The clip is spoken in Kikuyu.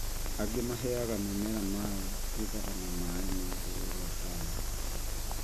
Angĩ mahega mĩmera maaĩ kumana na maaĩ ma rũũi rwa Tana